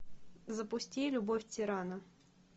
запусти любовь тирана